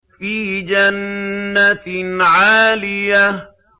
فِي جَنَّةٍ عَالِيَةٍ